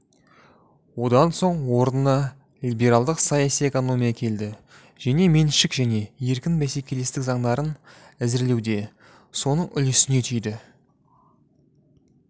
одан соң орынына либералдық саяси экономия келді жеке меншік және еркін бәсекелестік заңдарын әзірлеуде соның үлесіне тиді